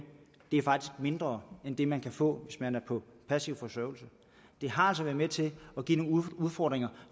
mindre end det man kan få hvis man er på passiv forsørgelse det har altså været med til at give nogle udfordringer